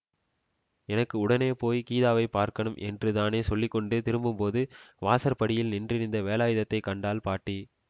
எனக்கு உடனே போயி கீதாவைப் பார்க்கணும் என்று தானே சொல்லி கொண்டு திரும்பும்போது வாசற்படியில் நின்றிருந்த வேலாயுதத்தைக் கண்டாள் பாட்டி